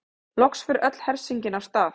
Loks fer öll hersingin af stað.